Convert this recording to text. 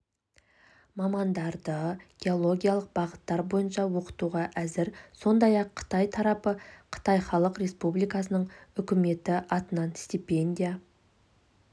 мамандарды геологиялық бағыттар бойынша оқытуға әзір сондай-ақ қытай тарапы қытай халық республикасының үкіметі атынан стипендия